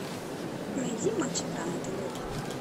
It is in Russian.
найди матч игра на тв